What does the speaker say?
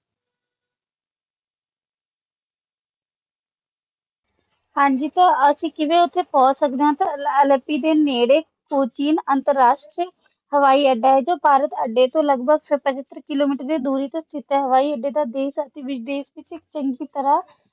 ਹਾਂਜੀ ਤਾ ਅਸੀਂ ਕਿਵੇਂ ਓਥੇ ਪਹੁੰਚ ਸਕਦੇ ਹੈ ਦੇ ਨੇੜੇ ਕੋਚੀਨ ਅੰਤਰਰਾਸ਼ਟਰੀ ਹਵਾਈ ਅੱਡਾ ਹੈ ਜੋ ਭਾਰਤੀ ਹਵਾਈ ਅੱਡੇ ਤੋਂ ਲਗਭਗ ਸੱਤਰ ਕਿਲੋਮੀਟਰ ਦੀ ਦੂਰੀ ਤੇ ਸਤੀਥ ਹੈ ਹਵਾਈ ਅੱਡੇ ਦਾ ਦੇਸ਼ ਅਤੇ ਵਿਦੇਸ਼ ਦੀ ਤਰ੍ਹਾਂ